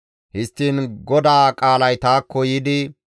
Histtiin GODAA qaalay taakko yiidi,